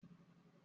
Ọtí jẹ nkan ìgbafẹ́